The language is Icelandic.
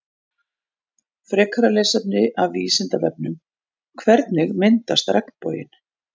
Frekara lesefni af Vísindavefnum Hvernig myndast regnboginn?